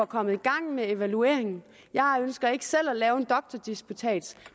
kommer i gang med evalueringen jeg ønsker ikke selv at lave en doktordisputats